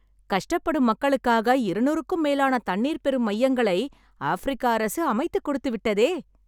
கஷ்டப்படும் மக்களுக்காக இருநூறுக்கும் மேலான தண்ணீர் பெறும் மையங்களை, ஆஃப்பிரிக்க அரசு அமைத்துக்கொடுத்துவிட்டதே..